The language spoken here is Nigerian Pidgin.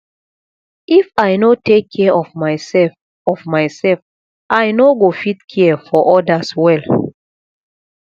if i no take care of myself of myself i no go fit care for others well